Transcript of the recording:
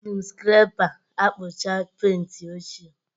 Eji m skrepa akpucha penti ochie